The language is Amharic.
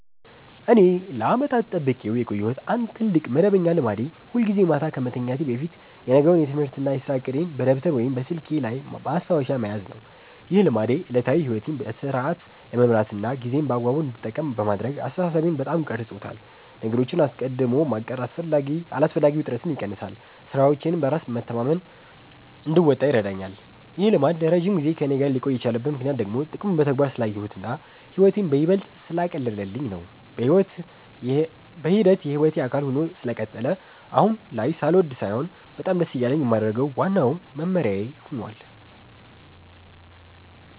እኔ ለዓመታት ጠብቄው የቆየሁት አንድ ትልቅ መደበኛ ልማዴ ሁልጊዜ ማታ ከመተኛቴ በፊት የነገውን የትምህርትና የሥራ ዕቅዴን በደብተር ወይም በስልኬ ላይ ማስታወሻ መያዝ ነው። ይህ ልማዴ ዕለታዊ ሕይወቴን በሥርዓት ለመምራትና ጊዜዬን በአግባቡ እንድጠቀም በማድረግ አስተሳሰቤን በጣም ቀርጾታል። ነገሮችን አስቀድሞ ማቀድ አላስፈላጊ ውጥረትን ይቀንሳል፤ ሥራዎቼንም በራስ መተማመን እንድወጣ ይረዳኛል። ይህ ልማድ ለረጅም ጊዜ ከእኔ ጋር ሊቆይ የቻለበት ምክንያት ደግሞ ጥቅሙን በተግባር ስላየሁትና ሕይወቴን ይበልጥ ስላቀለለልኝ ነው። በሂደት የሕይወቴ አካል ሆኖ ስለቀጠለ አሁን ላይ ሳልወድ ሳይሆን በጣም ደስ እያለኝ የማደርገው ዋናው መመሪያዬ ሆኗል።